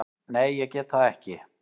Nei, ég get það ekki.